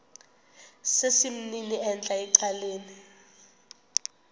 sesimnini entla ecaleni